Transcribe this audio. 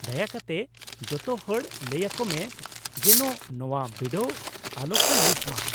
ᱫᱟᱭᱟ ᱠᱟᱛᱮ ᱡᱚᱛᱚᱦᱚᱲ ᱞᱟᱹᱭ ᱟᱠᱚ ᱢᱮ ᱡᱮᱱᱳ ᱱᱚᱶᱟ ᱵᱤᱰᱟᱹᱣ ᱟᱞᱚ ᱠᱚ ᱢᱤᱥ ᱢᱟ ᱾